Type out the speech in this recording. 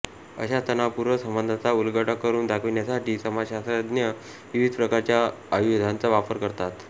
अशा तणावपूर्ण संबंधांचा उलगडा करून दाखविण्यासाठी समाजशास्त्रज्ञ विविध प्रकारच्या आयुधांचा वापर करतात